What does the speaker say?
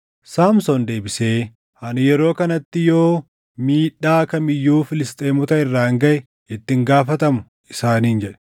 Saamsoon deebisee, “Ani yeroo kanatti yoo miidhaa kam iyyuu Filisxeemota irraan gaʼe itti hin gaafatamu” isaaniin jedhe.